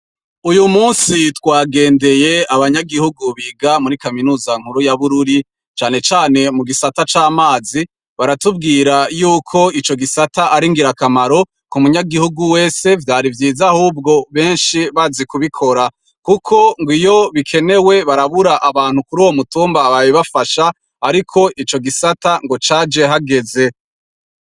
Uyu musi twagendeye abanyagihugu biga muri kaminuza nkuru ya Bururi, cane cane mu gisata c'amazi, baratubwira yuko ico gisata ari ingirakamaro ku munyagihugu wese vyari vyiza ahubwo benshi bari kubikora. Kuko ngw'iyo bikenewe barabura abantu kuruwo mutumba babibafasha, ariko ico gisata caje hageze.